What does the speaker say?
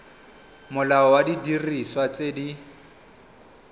molao wa didiriswa tse di